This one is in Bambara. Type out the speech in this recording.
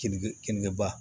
Kini kenikeba